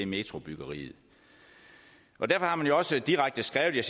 metrobyggeriet derfor har man jo også direkte skrevet